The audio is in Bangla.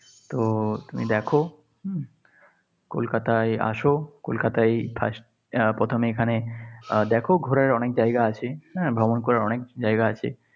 তো তুমি দেখ হম কলকাতায় আস, কলকাতায় first প্রথমে এখানে দেখ ঘোরার অনেক জায়গা আছে, হ্যাঁ। ভ্রমণ করার অনেক জায়গা আছে।